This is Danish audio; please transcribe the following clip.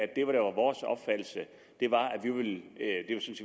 vi var